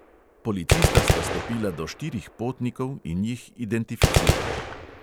Policista sta stopila do štirih potnikov in jih identificirala.